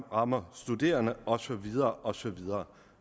rammer studerende og så videre og så videre